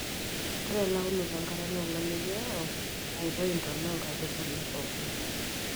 ore eleunoto enkare naa olameyu oyau aiyoi intona enkaitubului pookin